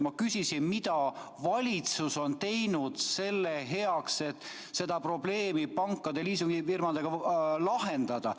Ma küsisin, mida valitsus on teinud selle heaks, et seda probleemi pankade ja liisingufirmadega lahendada.